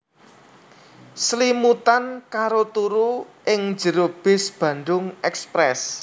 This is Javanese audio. Slimutan karo turu ing jero bis Bandung Express